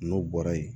N'o bɔra yen